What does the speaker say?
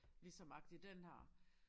Ligesom agtig den her